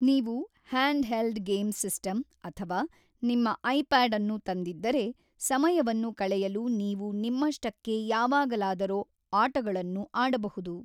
ನೀವು hand held game system ಅಥವಾ ನಿಮ್ಮ ಐಪ್ಯಾಡ್ ಅನ್ನು ತಂದಿದ್ದರೆ, ಸಮಯವನ್ನು ಕಳೆಯಲು ನೀವು ನಿಮ್ಮಷ್ಟಕ್ಕೇ ಯಾವಾಗಲಾದರೊ ಆಟಗಳನ್ನು ಆಡಬಹುದು.